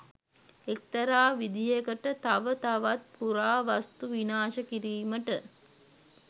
එක්තරා විදිහකට තව තවත් පුරාවස්තු විනාශ කිරීමට